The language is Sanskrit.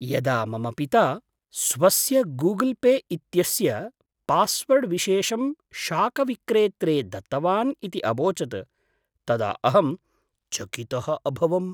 यदा मम पिता स्वस्य गूगल् पे इत्यस्य पास्वर्ड्विशेषं शाकविक्रेत्रे दत्तवान् इति अवोचत् तदा अहं चकितः अभवम्।